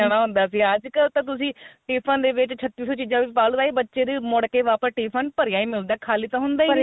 ਜਾਣਾ ਹੁੰਦਾ ਸੀ ਅੱਜਕਲ ਤਾਂ ਤੁਸੀਂ tiffin ਦੇ ਵਿੱਚ ਛੱਤੀ ਸੋ ਚੀਜ਼ਾ ਵਿੱਚ ਪਾ ਲੈਂਦੇ ਸੀ ਬੱਚੇ ਦੇ ਮੁੜ ਕੇ ਵਾਪਿਸ tiffin ਭਰਿਆ ਈ ਮਿਲਦਾ ਖਾਲੀ ਤਾਂ ਹੁੰਦਾ ਈ ਨੀ